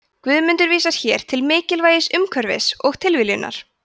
guðmundur vísar hér til mikilvægis umhverfis og tilviljunar